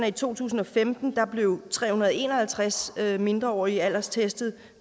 i to tusind og femten blev tre hundrede og en og halvtreds mindreårige alderstestet